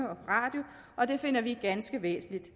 og det finder vi ganske væsentligt